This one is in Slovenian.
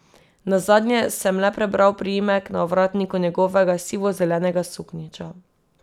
Nazadnje sem le prebral priimek na ovratniku njegovega sivozelenega suknjiča.